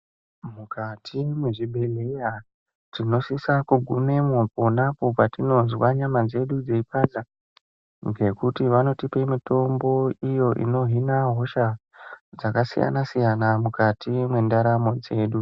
Mukati mwezvibhehleya, tinosisa kugumemwo ponapo patinozwa nyama dzedu dzei panda, ngekuti vanotipe mitombo iyo inohina hosha dzakasiyana-siyana mukati mwendaramo dzedu.